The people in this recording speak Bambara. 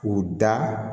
K'u da